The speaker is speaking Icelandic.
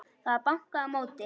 Það var bankað á móti.